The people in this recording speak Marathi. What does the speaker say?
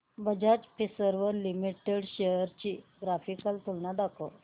बजाज फिंसर्व लिमिटेड शेअर्स ची ग्राफिकल तुलना दाखव